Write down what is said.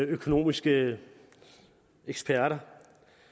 økonomiske eksperter